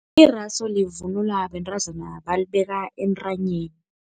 Irasu livunulwa bentazana balibeka entanyeni.